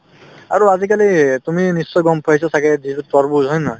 আৰু আজিকালি তুমি নিশ্চয় গম পাইছা ছাগে যিটো তৰমুজ হয় নে নহয়